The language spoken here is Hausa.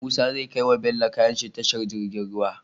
Musa zai kai wa bello kayanshi tashar girgin ruwa